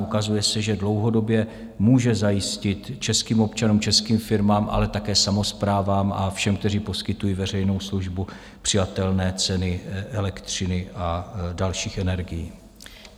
Ukazuje se, že dlouhodobě může zajistit českým občanům, českým firmám, ale také samosprávám a všem, kteří poskytují veřejnou službu, přijatelné ceny elektřiny a dalších energií.